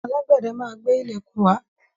Alágbẹ́dẹ máa gbé ilẹ̀kùn wá.